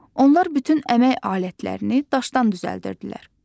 Onlar bütün əmək alətlərini daşdan düzəldirdilər.